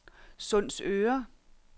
Sundsøre